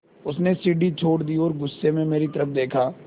उसने सीढ़ी छोड़ दी और गुस्से से मेरी तरफ़ देखा